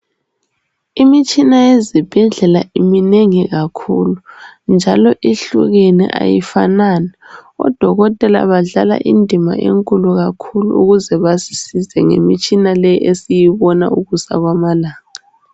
Imitshina yezibhedlela iminengi kakhulu, njalo ihlukene ayifanani. Odokotela badlala indima enkulu kakhulu ukuze basisize ngemitshina le esiyibona ukusa kwamalanga.